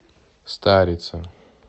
старица